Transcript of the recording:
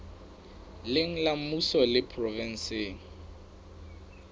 leng la mmuso le provenseng